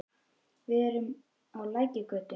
Við erum á Lækjargötu.